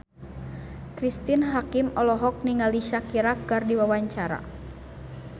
Cristine Hakim olohok ningali Shakira keur diwawancara